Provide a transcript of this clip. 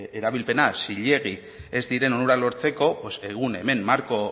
erabilpena zilegi ez diren onurak lortzeko egun hemen marko